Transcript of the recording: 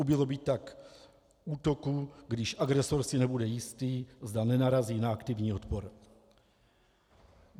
Ubylo by tak útoků, když agresor si nebude jistý, zda nenarazí na aktivní odpor.